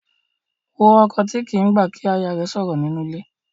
Wo ọkọ tí kì í gbà kí aya rẹ̀ sọ̀rọ̀ nínú ilé.